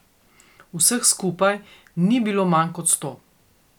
Vseh skupaj ni bilo manj kot sto.